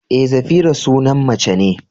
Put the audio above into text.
Eh, Zafira sunan mace ne.